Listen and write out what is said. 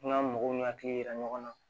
N'an mɔgɔw ni akili yira ɲɔgɔn na